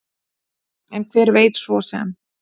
En hver veit svo sem?